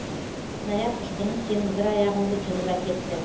снаряд ұшқыны сенің бір аяғыңды жұлып әкетті